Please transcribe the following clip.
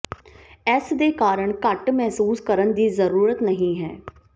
ਇਸ ਦੇ ਕਾਰਨ ਘੱਟ ਮਹਿਸੂਸ ਕਰਨ ਦੀ ਜ਼ਰੂਰਤ ਨਹੀਂ ਹੈ